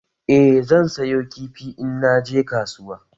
Eh zan sayo kifi in naje kasuwa